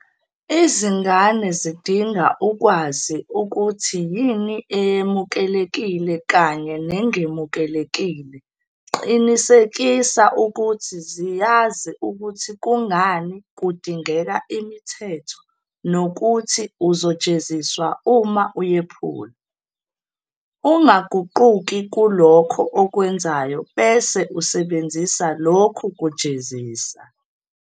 Izingane zidinga ukwazi ukuthi yini eyemukelekile kanye nengemukelekile Qinisekisa ukuthi ziyazi ukuthi kungani kudingeka imithetho nokuthi uzojeziswa uma uyephula. Ungaguquki kulokho okwenzayo bese usebenzisa lokhu kujezisa.